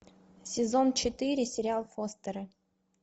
сезон четыре сериал фостеры